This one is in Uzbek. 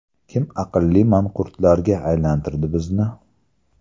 Kim aqlli manqurtlarga aylantirdi bizni?